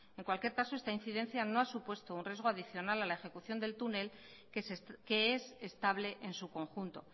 en cualquier caso esta incidencia no ha supuesto un riesgo adicional a la ejecución del túnel que es estable en su conjunto